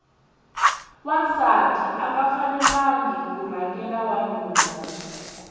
wansati anga fanelangi ku rhangela wanuna